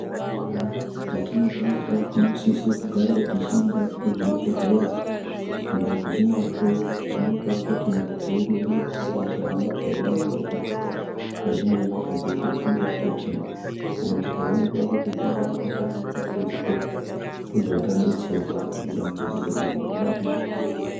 Mundau dzatinopeonera munosise kugarawo tichienda kuzvibhedhlera uko tichinohloiwa kuonekwa kuti ngazi yedu ingangodai ichihamba zvakanaka ere mukati mwenyama dzedu uye kuti tikaonekwa kuti panganei paine dambudziko tobva tabetserwa kuti dambudziko iri ridarike.